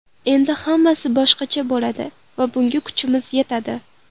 Endi hammasi boshqacha bo‘ladi va bunga kuchimiz yetadi”.